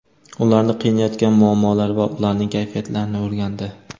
ularni qiynayotgan muammolar va ularning kayfiyatlarini o‘rgandi.